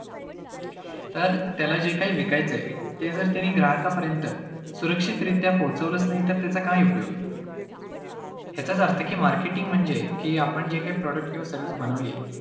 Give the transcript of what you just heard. तर त्याला जे काही विकायचयं, ते जर त्यांनी ग्राहकांपर्यंत सुरक्षितरित्या पोहचवलचं नाही, तर त्याचा काय उपयोग आहे? याचाच अर्थ की marketing म्हणजे की आपण जे काही product किंवा service बनवली आहे